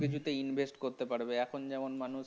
কোন কিছুতে invest করতে পারবে এখন যেমন